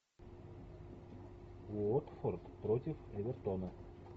уотфорд против эвертона